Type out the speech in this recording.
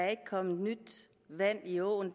er kommet nyt vand i åen